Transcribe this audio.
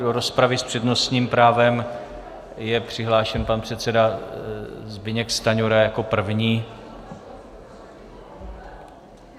Do rozpravy s přednostním právem je přihlášen pan předseda Zbyněk Stanjura jako první.